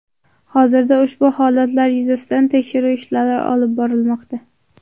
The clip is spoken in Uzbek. Hozirda ushbu holatlar yuzasidan tekshiruv ishlari olib borilmoqda.